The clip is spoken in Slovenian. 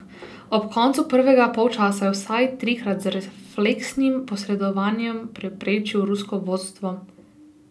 Ob koncu prvega polčasa je vsaj trikrat z refleksnim posredovanjem preprečil rusko vodstvo.